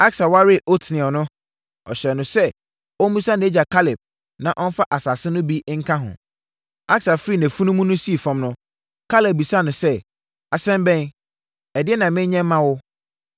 Aksa waree Otniel no, ɔhyɛɛ no sɛ ɔmmisa nʼagya Kaleb na ɔmfa asase no bi nka ho. Aksa firii nʼafunumu so sii fam no, Kaleb bisaa no sɛ, “Asɛm bɛn? Ɛdeɛn na menyɛ mma wo?”